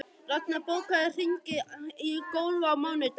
Raknar, bókaðu hring í golf á mánudaginn.